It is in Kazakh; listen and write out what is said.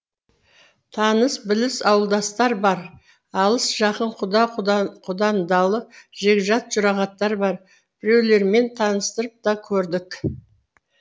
таныс біліс ауылдастар бар алыс жақын құда құдандалы жекжат жұрағаттар бар біреулермен таныстырып та көрдік